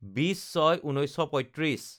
২০/০৬/১৯৩৫